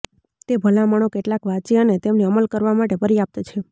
તે ભલામણો કેટલાક વાંચી અને તેમને અમલ કરવા માટે પર્યાપ્ત છે